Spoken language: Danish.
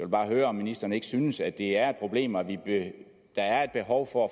bare høre om ministeren ikke synes at det er et problem og at der er et behov for